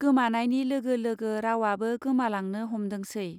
गोमानायनि लोगो लोगो रावआबो गोमालांनो हमदोंसै.